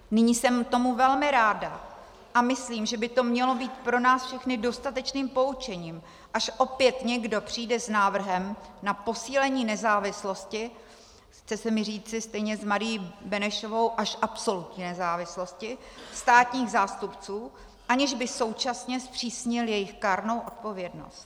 Nyní jsem tomu velmi ráda a myslím, že by to mělo být pro nás všechny dostatečným poučením, až opět někdo přijde s návrhem na posílení nezávislosti - chce se mi říci stejně s Marií Benešovou až absolutní nezávislosti - státních zástupců, aniž by současně zpřísnil jejich kárnou odpovědnost.